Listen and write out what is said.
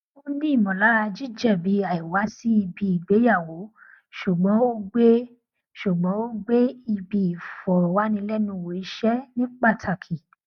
ó ní ìmọlara jíjẹbi àìwá sí ibi ìgbéyàwó ṣùgbọn ó gbé ṣùgbọn ó gbé ibi ìfọrọwánilẹnuwò iṣẹ ní pátàkì